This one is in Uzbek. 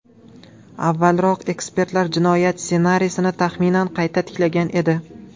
Avvalroq ekspertlar jinoyat ssenariysini taxminan qayta tiklagan edi.